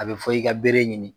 A bɛ fɔ i ka bere ɲini